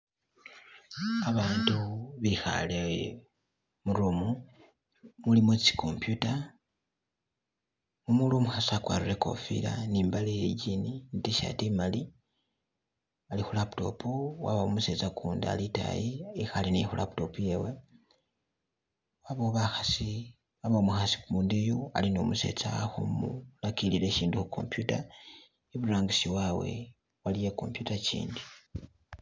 Abantu bikhale mu room, mulimo tsi computer mumuli umukhasi akwarire ikofila ne imbale ye Jean ne tshirt imali ali khu laptop wabawo umusetsa ukundi ali itayi ekhale khu laptop yewe, wabawo bakhasi, wabawo umukhasi kundi yu ali ne umusetsa ali khumulakilila ibindu khu computer, iburangisi wabwe waliyo i'computer ikindi.